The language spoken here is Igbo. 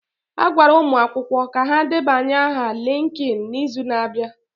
A gwara ụmụ akwụkwọ a ka ha debanye aha LinkedIn n'izu na-abịa.